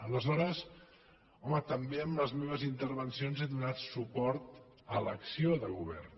aleshores home també en les meves intervencions he donat suport a l’acció de govern